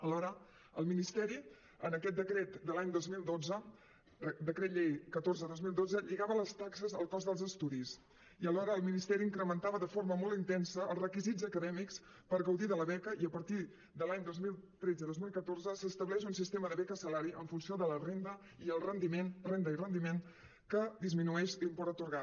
alhora el ministeri en aquest decret de l’any dos mil dotze decret llei catorze dos mil dotze lligava les taxes al cost dels estudis i alhora el ministeri incrementava de forma molt intensa els requisits acadèmics per gaudir de la beca i a partir de l’any dos mil tretze dos mil catorze s’estableix un sistema de beca salari en funció de la renda i el rendiment renda i rendiment que disminueix l’import atorgat